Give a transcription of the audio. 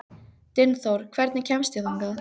Dynþór, hvernig kemst ég þangað?